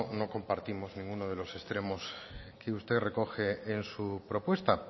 no compartimos ninguno de los extremos que usted recoge en su propuesta